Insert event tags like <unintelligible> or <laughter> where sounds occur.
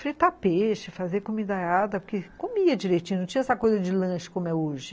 fritar peixe, fazer comida, <unintelligible> porque comia direitinho, não tinha essa coisa de lanche como é hoje.